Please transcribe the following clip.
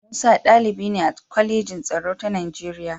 Musa ɗalibi ne a Kwalejin Tsaro ta Nigeriya.